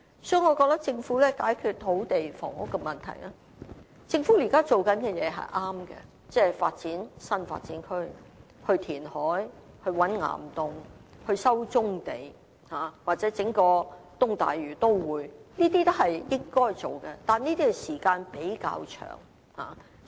所以，我認為要解決土地及房屋問題，而政府現時做的工作是對的，即發展新發展區、填海、覓岩洞、收回棕地，或規劃一個東大嶼都會，這些均是應該做的，但需時較長。